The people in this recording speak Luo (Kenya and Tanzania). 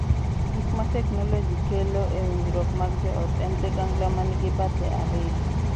Gik ma teknoloji kelo e winjruok mag joot en ligangla ma nigi bathe ariyo.